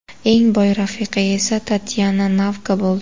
Eng boy rafiqa esa Tatyana Navka bo‘ldi.